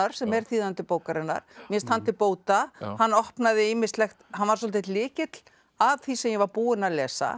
sem er þýðandi bókarinnar mér finnst hann til bóta hann opnaði ýmislegt hann var svolítill lykill að því sem ég var búin að lesa